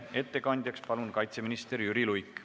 Ettekandjaks palun kaitseminister Jüri Luige.